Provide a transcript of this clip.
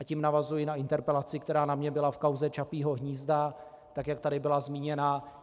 A tím navazuji na interpelaci, která na mě byla v kauze Čapího hnízda, tak jak tady byla zmíněna.